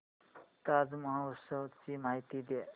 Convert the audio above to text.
ताज महोत्सव ची माहिती दे